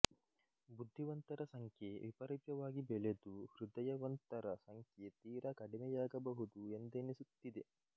ಬುದ್ಧಿವಂತರ ಸಂಖ್ಯೆ ವಿಪರೀತವಾಗಿ ಬೆಳೆದು ಹೃದಯವಂತರ ಸಂಖ್ಯೆ ತೀರಾ ಕಡಿಮೆಯಾಗಬಹುದು ಎಂದೆನಿಸುತ್ತಿದೆ